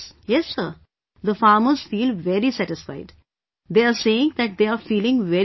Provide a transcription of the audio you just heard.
Yes Sir, the farmers feel very satisfied... they are saying that they are feeling very good